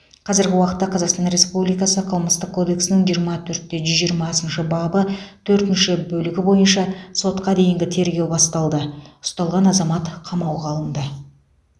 қазіргі уақытта қазақстан республикасы қылмыстық кодексінің жиырма төрт те жүз жиырмасыншы бабы төртінші бөлігі бойынша сотқа дейінгі тергеу басталды ұсталған азамат қамауға алынды